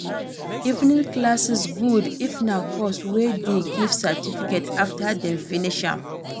Evening classes good if na course wey de give certificate after dem finish am